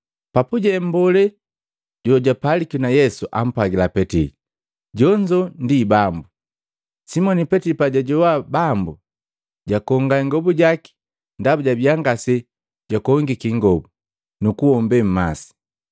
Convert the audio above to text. Papuje mmbolee jojapaliki na Yesu ampwagila Petili, “Jonzo Bambu!” Simoni Petili pajajoa Bambu, jakonga ingobu jaki ndaba jabiya ndaba ngaese jwakongike ingobo, nukuhombe mmase.